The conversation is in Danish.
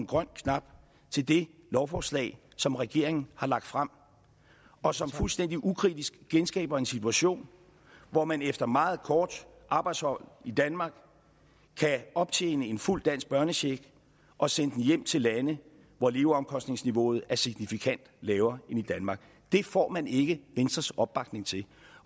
grønne knap til det lovforslag som regeringen har lagt frem og som fuldstændig ukritisk genskaber en situation hvor man efter et meget kort arbejdsophold i danmark kan optjene en fuld dansk børnecheck og sende den hjem til lande hvor leveomkostningsniveauet er signifikant lavere end i danmark det får man ikke venstres opbakning til